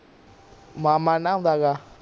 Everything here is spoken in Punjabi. ਮਾਮਾ ਨਹਾਉਂਦਾ ਹੈਗਾ